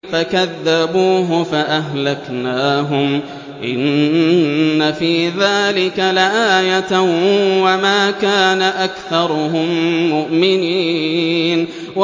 فَكَذَّبُوهُ فَأَهْلَكْنَاهُمْ ۗ إِنَّ فِي ذَٰلِكَ لَآيَةً ۖ وَمَا كَانَ أَكْثَرُهُم مُّؤْمِنِينَ